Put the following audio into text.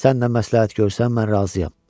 Sən nə məsləhət görsən, mən razıyam.